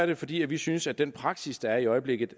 det fordi vi synes at den praksis der er i øjeblikket